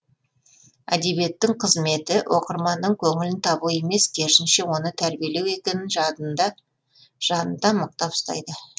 әдебиеттің қызметі оқырманның көңілін табу емес керісінше оны тәрбиелеу екенін жадында жанында мықтап ұстайды